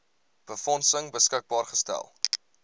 befondsing beskikbaar gestel